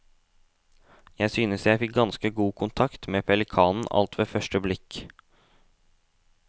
Jeg syntes jeg fikk ganske god kontakt med pelikanen alt ved første blikk.